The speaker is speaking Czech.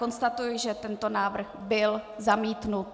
Konstatuji, že tento návrh byl zamítnut.